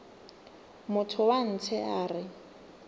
motho wa ntshe a re